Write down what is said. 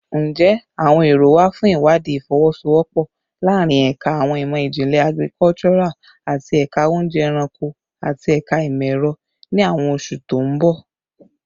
Njẹ awọn ero wa fun iwadii ifowosowopo laarin Ẹka Awọn imọ-jinlẹ Agricultural ati Ẹka Ounje Eranko ati Ẹka Imọ-ẹrọ ni awọn oṣu to n bọ?